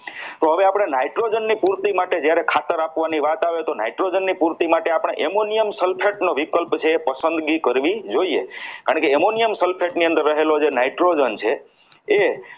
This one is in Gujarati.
તો હવે આપણે nitrogen ની પૂર્તિ માટે જ્યારે ખાતર આપવાની વાત આવે તો nitrogen ની પૂર્તિ માટે આપણે Ammonium Sulphate નું વિકલ્પ છે એ બી કરવી જોઈએ કારણ કે Ammonium Sulphate ની અંદર રહેલા જે nitrogen છે એ